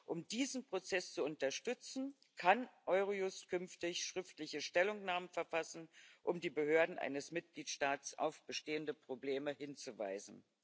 Um diesen Prozess zu unterstützen, kann Eurojust künftig schriftliche Stellungnahmen verfassen, um die Behörden eines Mitgliedstaats auf bestehende Probleme hinzuweisen.